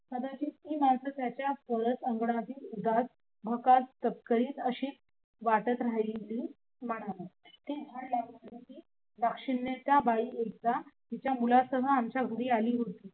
कदाचित त्याचा अशी वाटत राहिली होती. दाक्षिणात्य बाई एकदा तिच्या मुलासह आमच्या घरी आली होती